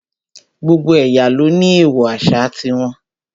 Gbogbo ẹ̀yà ló ní èèwọ̀ àṣà ti wọn